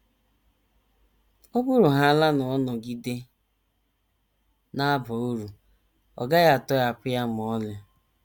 Ọ bụrụhaala na ọ nọgide na - aba uru, a gaghị atọhapụ ya ma ọlị.